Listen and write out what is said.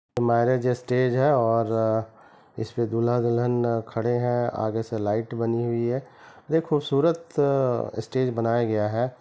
Marriage stage है और इसपे दूल्हा दुल्हन खड़े है आगे से लाइट बनी हुई है यह खूबसूरत स्टेज बनाया गया है।